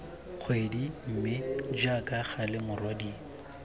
kgwedi mme jaaka gale morwadie